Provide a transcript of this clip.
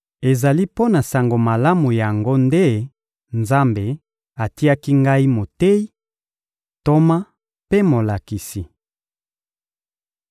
Ezali mpo na Sango Malamu yango nde Nzambe atiaki ngai moteyi, ntoma mpe molakisi.